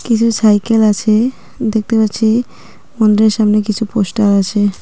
কিছু সাইকেল আছে দেখতে পাচ্ছি মন্দিরের সামনে কিছু পোস্টার আছে।